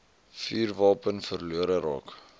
vuurwapen verlore raak